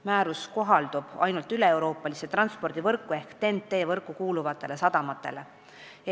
Määrus kohaldub ainult üleeuroopalisse transpordivõrku ehk TEN-T võrku kuuluvatele sadamatele.